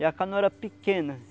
E a canoa era pequena.